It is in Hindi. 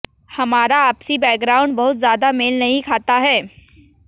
हमारा आपसी बैकग्राउंड बहुत ज्यादा मेल नहीं खाता है